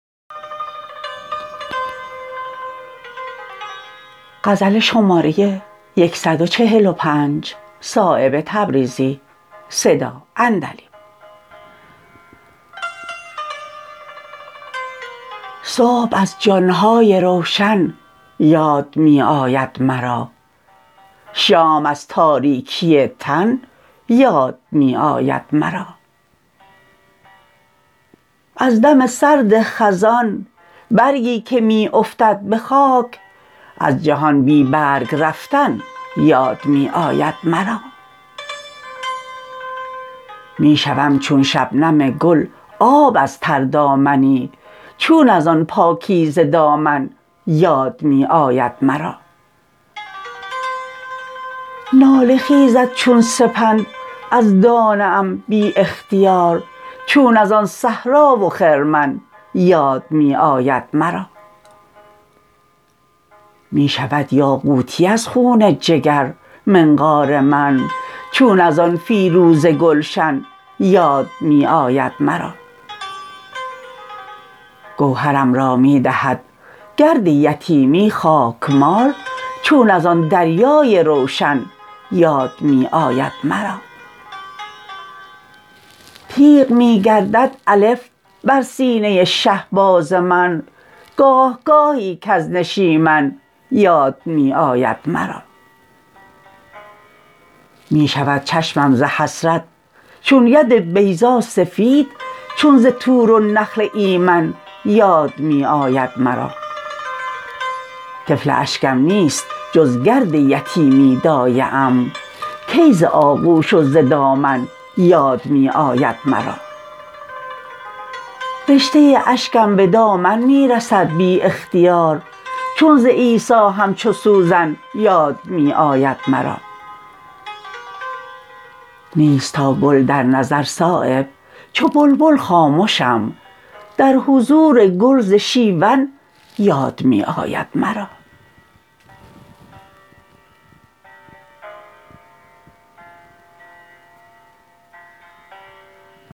صبح از جان های روشن یاد می آید مرا شام از تاریکی تن یاد می آید مرا از دم سرد خزان برگی که می افتد به خاک از جهان بی برگ رفتن یاد می آید مرا می شوم چون شبنم گل آب از تردامنی چون ازان پاکیزه دامن یاد می آید مرا ناله خیزد چون سپند از دانه ام بی اختیار چون ازان صحرا و خرمن یاد می آید مرا می شود یاقوتی از خون جگر منقار من چون ازان فیروزه گلشن یاد می آید مرا گوهرم را می دهد گرد یتیمی خاکمال چون ازان دریای روشن یاد می آید مرا تیغ می گردد الف بر سینه شهباز من گاهگاهی کز نشیمن یاد می آید مرا می شود چشمم ز حسرت چون ید بیضا سفید چون ز طور و نخل ایمن یاد می آید مرا طفل اشکم نیست جز گرد یتیمی دایه ام کی ز آغوش و ز دامن یاد می آید مرا رشته اشکم به دامن می رسد بی اختیار چون ز عیسیٰ همچو سوزن یاد می آید مرا نیست تا گل در نظر صایب چو بلبل خامشم در حضور گل ز شیون یاد می آید مرا